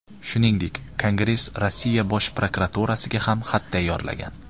Shuningdek, Kongress Rossiya Bosh prokuraturasiga ham xat tayyorlagan.